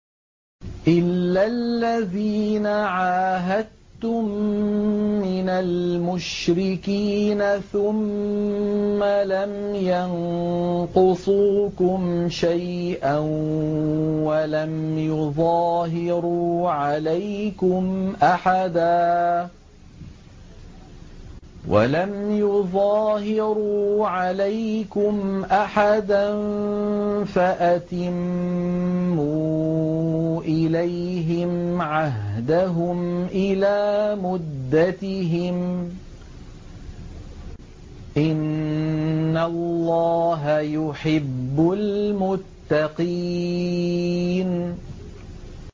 إِلَّا الَّذِينَ عَاهَدتُّم مِّنَ الْمُشْرِكِينَ ثُمَّ لَمْ يَنقُصُوكُمْ شَيْئًا وَلَمْ يُظَاهِرُوا عَلَيْكُمْ أَحَدًا فَأَتِمُّوا إِلَيْهِمْ عَهْدَهُمْ إِلَىٰ مُدَّتِهِمْ ۚ إِنَّ اللَّهَ يُحِبُّ الْمُتَّقِينَ